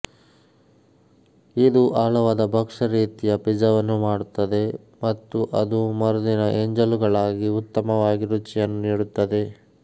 ಇದು ಆಳವಾದ ಭಕ್ಷ್ಯ ರೀತಿಯ ಪಿಜ್ಜಾವನ್ನು ಮಾಡುತ್ತದೆ ಮತ್ತು ಅದು ಮರುದಿನ ಎಂಜಲುಗಳಾಗಿ ಉತ್ತಮವಾಗಿ ರುಚಿಯನ್ನು ನೀಡುತ್ತದೆ